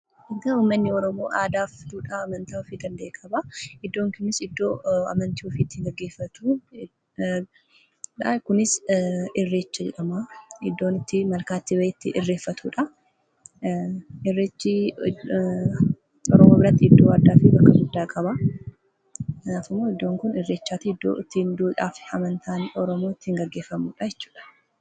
Uummanni Oromoo aadaa fi duudhaa amantaa ofii eeguudhaan beekamaa. Iddoon Kunis iddoo amantii ofii itti gaggeeffachuudha. Kunis irreecha jedhamaa iddoo itti malkaatti bahee itti irreeffatudha. Irreechi oromoo biratti iddoo addaa fi bakka guddaa qabaa. Iddoon Kun iddoo irreechaatii fi duudhaan amantaa oromoo itti gaggeeffamudha jechuudha